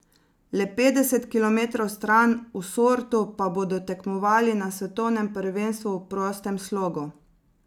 Le petdeset kilometrov stran, v Sortu, pa bodo tekmovali na svetovnem prvenstvu v prostem slogu.